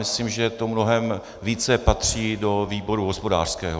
Myslím, že to mnohem více patří do výboru hospodářského.